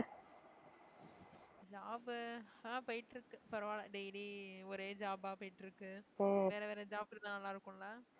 job பு ஆஹ் போயிட்டு இருக்கு பரவாயில்லை daily ஒரே job ஆ போயிட்டு இருக்கு வேற வேற job இருந்தா நல்லா இருக்கும் இல்ல